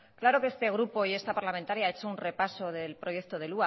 claro que este grupo y esta parlamentaria ha hecho un repaso del proyecto del